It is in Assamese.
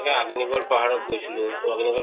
আগ্নীগঢ় পাহাৰত গৈছিলো তʼ আগ্নীগঢ়